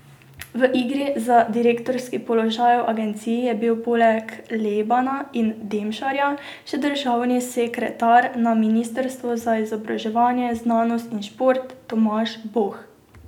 V igri za direktorski položaj v agenciji je bil poleg Lebana in Demšarja še državni sekretar na ministrstvu za izobraževanje, znanost in šport Tomaž Boh.